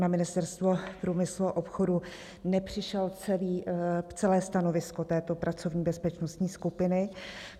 Na Ministerstvo průmyslu a obchodu nepřišlo celé stanovisko této pracovní bezpečnostní skupiny.